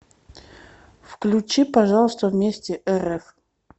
включи пожалуйста вместе рф